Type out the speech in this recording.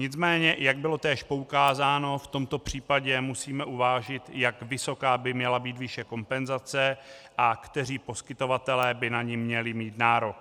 Nicméně, jak bylo též poukázáno, v tomto případě musíme uvážit, jak vysoká by měla být výše kompenzace a kteří poskytovatelé by na ni měli mít nárok.